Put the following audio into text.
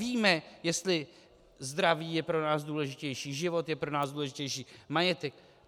Víme, jestli zdraví je pro nás důležitější, život je pro nás důležitější, majetek?